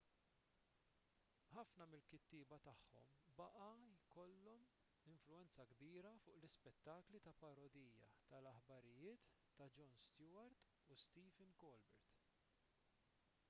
ħafna mill-kittieba tagħhom baqa' jkollhom influwenza kbira fuq l-ispettakli ta' parodija tal-aħbarijiet ta' jon stewart u stephen colbert